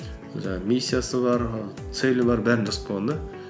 жаңағы миссиясы бар целі бар бәрін жазып қойған да